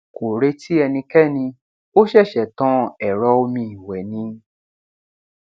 kò retí ẹnikéni ó ṣẹṣẹ tan ẹrọ omi ìwẹ ni